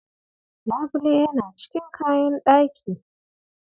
Labule yana cikin kayan ɗaki.